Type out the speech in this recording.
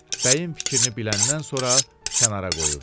bəyin fikrini biləndən sonra kənara qoyurdu.